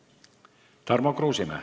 Tarmo Kruusimäe.